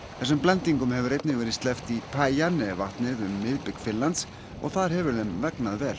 þessum blendingum hefur einnig verið sleppt í vatnið um miðbik Finnlands og þar hefur þeim vegnað vel